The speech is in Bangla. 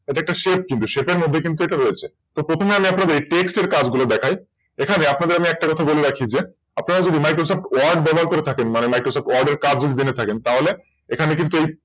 এটা একটা Shape কিন্তু এই Shape এর মধ্যে কিন্তু এটা রয়েছে তো প্রথমে আপনাদের Text এর কাজ গুলো দেখায় আপনাদের একটা কথা বলি রাখি আপনারা যদি MicrosoftWord ব্যবহার করে থাকেন মানে MicrosoftWord এর কাজ যদি জেনে থাকেন এখানে তাহলে